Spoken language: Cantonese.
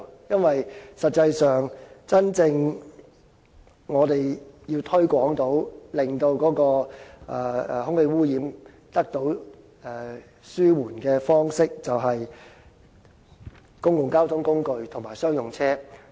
因為實際上，我們要真正推廣電動車，從而令空氣污染得到紓緩的方式，便應推廣公共交通工具及商用車採用電動車。